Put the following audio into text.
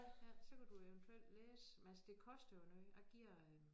Ja så kan du jo eventuelt læse men altså det koster jo noget jeg giver øh